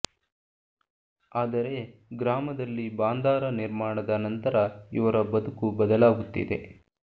ಆದರೆ ಗ್ರಾಮದಲ್ಲಿ ಬಾಂದಾರ ನಿರ್ಮಾಣದ ನಂತರ ಇವರ ಬದುಕು ಬದಲಾಗುತ್ತಿದೆ